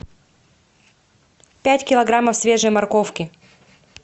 пять килограммов свежей морковки